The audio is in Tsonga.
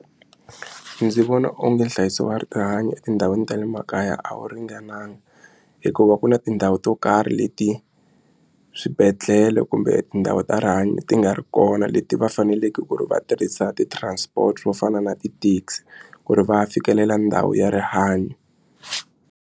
Ndzi vona onge nhlayiso wa rihanyo etindhawini ta le makaya a wu ringananga hikuva ku na tindhawu to karhi leti swibedhlele kumbe tindhawu ta rihanyo ti nga ri kona leti va faneleke ku ri va tirhisa ti transport to fana na ti-taxi ku ri va fikelela ndhawu ya rihanyo.